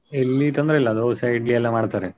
ಇಲ್ಲಿ ತೊಂದ್ರೆ ಇಲ್ಲಾ dosa, Idli ಎಲ್ಲ ಮಾಡ್ತಾರೆ.